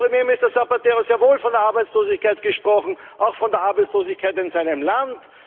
Und Premierminister Zapatero hat sehr wohl von der Arbeitslosigkeit gesprochen, auch von der Arbeitslosigkeit in seinem Land.